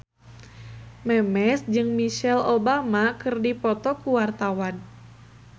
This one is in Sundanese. Memes jeung Michelle Obama keur dipoto ku wartawan